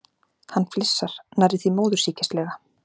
Hann flissar, nærri því móðursýkislega.